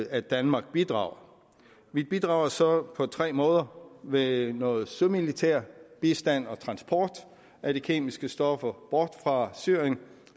at danmark bidrager vi bidrager så på tre måder med noget sømilitær bistand og transport af de kemiske stoffer bort fra syrien